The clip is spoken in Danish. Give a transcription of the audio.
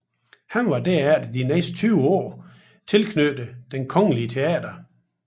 Han var derefter de næste 20 år tilknyttet Det kongelige Teater